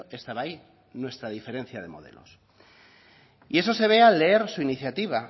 estaba ahí nuestra diferencia de modelos y eso se ve al leer su iniciativa